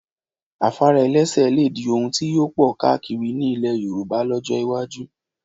Afárá ẹlẹ́sẹ̀ lè di ohun tí yóò pọ̀ káakiri ní ilẹ̀ Yorùbá lọ́jọ́ iwájú